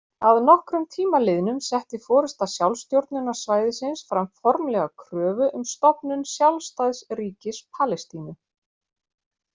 Að nokkrum tíma liðnum setti forysta sjálfstjórnarsvæðisins fram formlega kröfu um stofnun sjálfstæðs ríkis Palestínu.